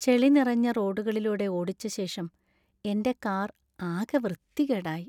ചെളി നിറഞ്ഞ റോഡുകളിലൂടെ ഓടിച്ചശേഷം എന്‍റെ കാർ ആകെ വൃത്തികേടായി.